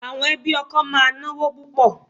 Àwọn ẹbí ọkọ máa náwó púpò.